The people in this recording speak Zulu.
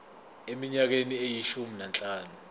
eminyakeni eyishumi nanhlanu